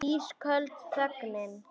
Ísköld þögnin.